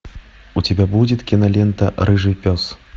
у тебя будет кинолента рыжий пес